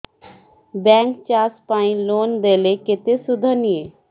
bank ଚାଷ ପାଇଁ loan ଦେଲେ କେତେ ସୁଧ ନିଏ